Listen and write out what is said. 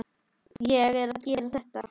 Ég er að gera þetta.